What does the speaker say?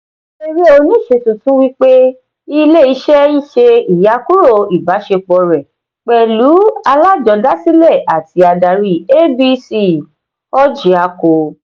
eré oníṣe tuntun wípé ilé iṣé ṣe iyakuro ìbásepo rẹ pẹlú alajodasile àti adari abc orjiako.